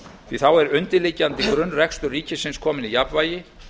því að þá er undirliggjandi grunnrekstur ríkisins kominn í jafnvægi